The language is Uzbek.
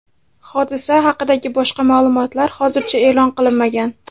Hodisa haqidagi boshqa ma’lumotlar hozircha e’lon qilinmagan.